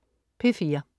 P4: